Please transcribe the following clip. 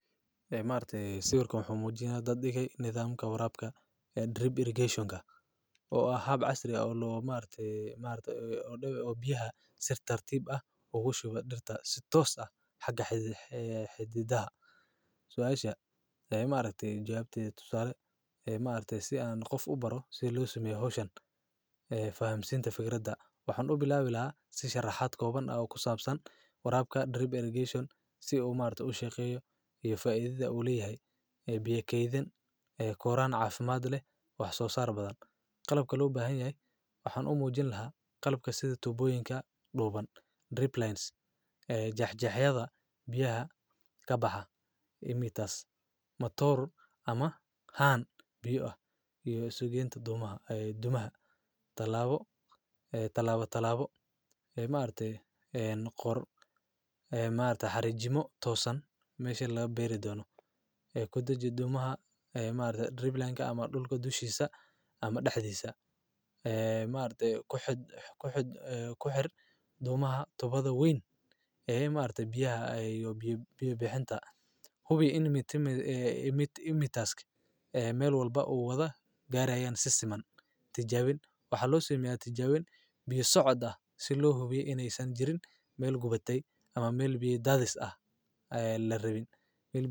Ha maarte siwirkan muxu muujin dad ika nidaamka waraaqda Drip irrigation ga ah hab casri oo loo maarte maarta dhabay oo biyaha sir tartiib ah ugu shuba dhirta sidi toos a xagga xididaha. Su'aasha ay maalmahay jaabtay tusaale maarta si aan qof u baro si loo sameyo hawshan. Faham siinta fikradda waxaan u bilaabila sii sharaxaad kooban oo ku saabsan waraaq Drip irrigation si uu maalinta u shaqeeyo iyo faa'iideeda ula yeeyay biyo keydin koraa caafimaad leh wax soo saar badan qalabkii loo baahan yahay. Waxaan u muujin lahaa qalabka sida tuboyinka dhuban, drip lines ee jajceheydaha biyaha ka baxa imiters motor ama hann biyo ah iyo isu geento dumaha ee dumaha. Talaabo ee talaabo talaabo maarte een qor maanta hariimo toosan meesha laga beeri doono ee ku dajiyo dumaha ee maanta dribbling ama dhulka dushiisa ama dhexdiisa. Ee maarta ku xidh ku xidh ku xir dumaha tobada wayn. Eh maarta biyaha ayuu yoo bixinta hubi in imiters meel walba uu u wada gaar ayan si siman. Tijaabin waxaa loo sameeyaa tijaabin bilaashood socda si loo hubiye inay san jirin meel gubatay ama meel bii daadis ah la rabin meel bii.